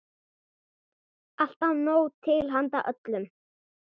Alltaf nóg til handa öllum.